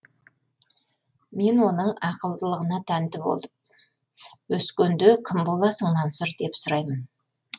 мен оның ақылдылығына тәнті болып өскенде кім боласың мансұр деп сұраймын